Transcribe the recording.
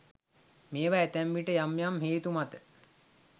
මේවා ඇතැම් විට යම් යම් හේතු මත